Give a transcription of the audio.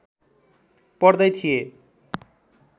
पढ्दै थिए